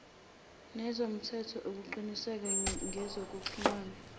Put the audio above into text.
nezomthetho ukuqiniseka ngezokuxhumana